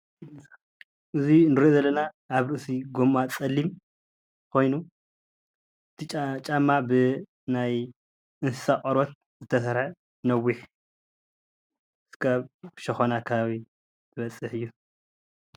እዚ እንሪኦ ዘለና ኣብ ርእሲ ጎማ ፀሊም ኮይኑ እቲ ጫማ ብናይ እንስሳ ቆርበት ዝተሰርሐ ነዊሕ ክሳብ ሸኮና ከባቢ ዝበፅሕ እዩ፡፡